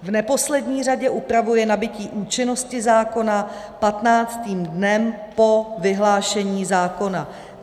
V neposlední řadě upravuje nabytí účinnosti zákona patnáctým dnem po vyhlášení zákona.